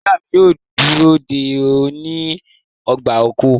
Iya mi yoo duro de ọ ni ọgba-ọkọ